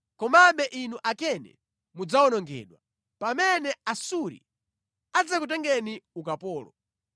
komabe inu Akeni mudzawonongedwa, pamene Asuri adzakutengeni ukapolo.”